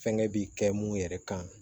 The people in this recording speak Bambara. Fɛnkɛ bi kɛ mun yɛrɛ kan